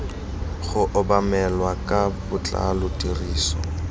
go obamelwa ka botlalo tiriso